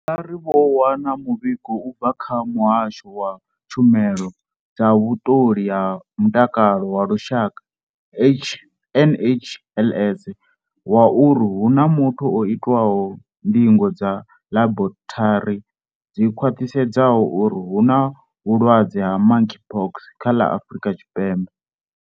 Vha ri vho wana muvhigo u bva kha Muhasho wa Tshumelo dza Vhuṱoli ha Mutakalo wa Lushaka, NHLS, wa uri hu na muthu o itwaho ndingo dza ḽaborithari dzi khwaṱhisedzaho uri hu na vhulwadze ha Monkeypox kha ḽa Afrika Tshipembe.